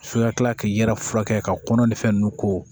So ka kila k'i yɛrɛ furakɛ ka kɔnɔ ni fɛn ninnu ko